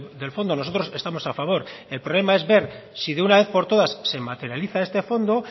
del fondo nosotros estamos a favor el problema es ver si de una vez por todas se materializa este fondo